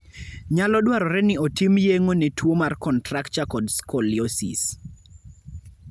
Nyalo dwarore ni otim yeng'o ne tuwo mar contracture kod scoliosis.